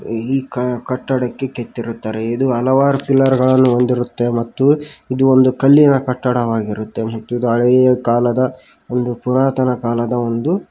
ಈ ಕ ಕಟ್ಟಡಕ್ಕೆ ಕೆತ್ತಿರುತ್ತಾರೆ ಇದು ಹಲವಾರು ಪಿಲ್ಲರ್ ಗಳನ್ನು ಹೊಂದಿರುತ್ತೆ ಮತ್ತು ಇದು ಒಂದು ಕಲ್ಲಿನ ಕಟ್ಟಡವಾಗಿರುತ್ತೆ ಮತ್ತು ಇದು ಹಳೆಯ ಕಾಲದ ಒಂದು ಪುರಾತನ ಕಾಲದ ಒಂದು--